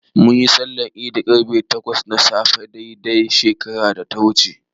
Munyi sallar Idi ƙarfe takwas na safe dai dai shekarar da ta wuce.